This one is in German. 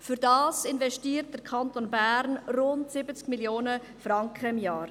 Dafür investiert der Kanton Bern rund 70 Mio. Franken im Jahr.